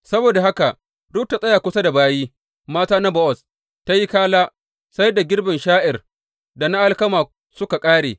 Saboda haka Rut ta tsaya kusa da bayi mata na Bowaz don tă yi kala sai da girbin sha’ir da na alkama suka ƙare.